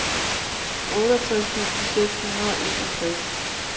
otteogtres tusind seks hundrede og enogtres